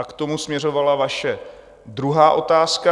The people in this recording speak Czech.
A k tomu směřovala vaše druhá otázka.